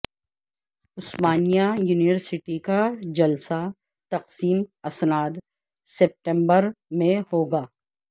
عثمانیہ university کا جلسہ تقسیم اسناد ستمبر میں ہوگا